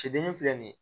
Cɛden filɛ nin ye